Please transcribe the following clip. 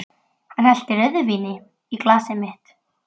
Hann hellti rauðvíni í glasið mitt.